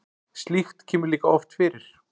slíkt kemur líka oft fyrir